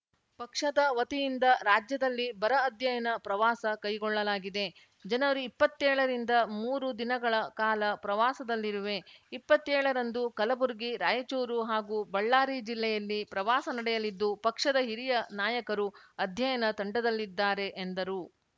ಪಕ್ಷದ ವತಿಯಿಂದ ರಾಜ್ಯದಲ್ಲಿ ಬರ ಅಧ್ಯಯನ ಪ್ರವಾಸ ಕೈಗೊಳ್ಳಲಾಗಿದೆ ಜನವರಿಇಪ್ಪತ್ತೇಳ ರಿಂದ ಮೂರು ದಿನಗಳ ಕಾಲ ಪ್ರವಾಸದಲ್ಲಿರುವೆ ಇಪ್ಪತ್ತೇಳ ರಂದು ಕಲಬುರಗಿ ರಾಯಚೂರು ಹಾಗೂ ಬಳ್ಳಾರಿ ಜಿಲ್ಲೆಯಲ್ಲಿ ಪ್ರವಾಸ ನಡೆಯಲಿದ್ದು ಪಕ್ಷದ ಹಿರಿಯ ನಾಯಕರು ಅಧ್ಯಯನ ತಂಡದಲ್ಲಿದ್ದಾರೆ ಎಂದರು